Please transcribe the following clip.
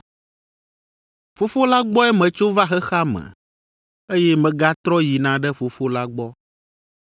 Fofo la gbɔe metso va xexea me, eye megatrɔ yina ɖe Fofo la gbɔ.”